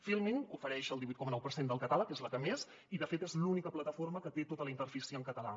filmin hi ofereix el divuit coma nou per cent del catàleg és la que més i de fet és l’única plataforma que té tota la interfície en català